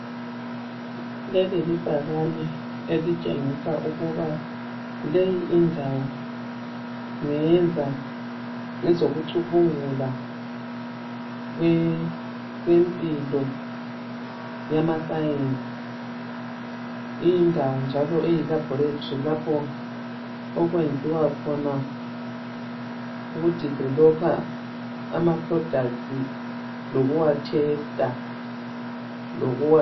Leli libhakane elitshengisa ukuba leyi indawo ngeyenza ngezoku cubungula kwempilo yama sayensi, indawo njalo elabholetri lapho okwenziwa khona ukudivelopha amaprodathi lokuwa thesta.